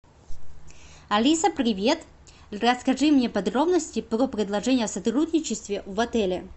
алиса привет расскажи мне подробности про предложения о сотрудничестве в отеле